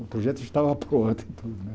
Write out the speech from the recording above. O projeto estava pronto e tudo, né?